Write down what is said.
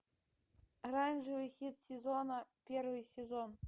оранжевый хит сезона первый сезон